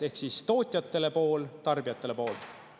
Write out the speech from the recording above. Ehk tootjatele pool ja tarbijatele poolt.